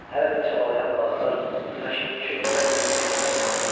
Hələ də çabalayan balıqlar günəşin işığında gümüş kimi parıldayırdı.